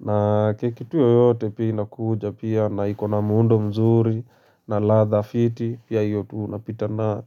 Na keki tu yoyote pia inakuja pia, na ikona muundo mzuri na ladha fiti pia hiyo tu unapitana nayo.